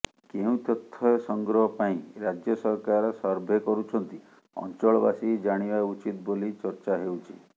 କେଉଁ ତଥ୍ୟ ସଂଗ୍ରହ ପାଇଁ ରାଜ୍ୟ ସରକାର ସର୍ଭେ କରୁଛନ୍ତି ଅଞ୍ଚଳବାସୀ ଜାଣିବା ଉଚିତ ବୋଲି ଚର୍ଚ୍ଚା ହେଉଛି